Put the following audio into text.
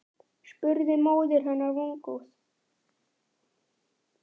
spurði móðir hennar vongóð.